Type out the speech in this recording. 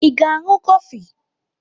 Ị ga-aṅụ kọfị?